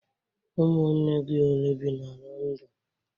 Ụmụnne gị ole bi n'Londonu?